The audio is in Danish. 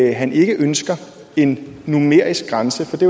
at han ikke ønsker en numerisk grænse for det